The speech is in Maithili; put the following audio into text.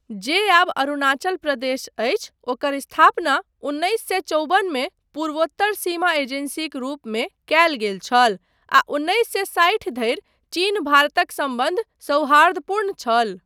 जे आब अरुणाचल प्रदेश अछि ओकर स्थापना उन्नैस सए चौबनमे पूर्वोत्तर सीमा एजेन्सीक रूपमे कयल गेल छल आ उन्नैस सए साठि धरि चीन भारतक सम्बन्ध सौहार्दपूर्ण छल।